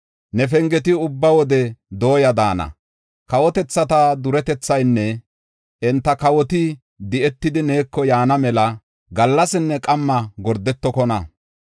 Ne pengeti ubba wode dooya daana; kawotethata duretethaynne enta kawoti di7etidi neeko yaana mela gallasinne qamma gordetokona.